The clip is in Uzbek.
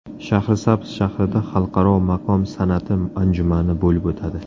Shahrisabz shahrida Xalqaro maqom san’ati anjumani bo‘lib o‘tadi.